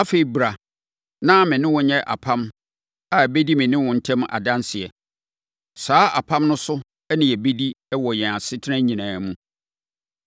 Afei, bra na me ne wo nyɛ apam a ɛbɛdi me ne wo ntam adanseɛ. Saa apam no so na yɛbɛdi wɔ yɛn asetena nyinaa mu.”